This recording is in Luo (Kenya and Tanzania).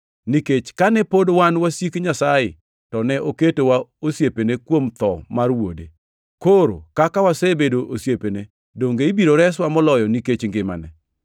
Nikech kane pod wan wasik Nyasaye to ne oketowa osiepene kuom tho mar Wuode, koro kaka wasebedo osiepene donge ibiro reswa moloyo nikech ngimane!